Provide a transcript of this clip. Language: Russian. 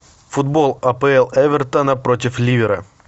футбол апл эвертона против ливера